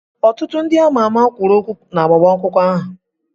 Ọtụtụ ndị ama ama kwuru okwu na agbamakwụkwọ ahụ.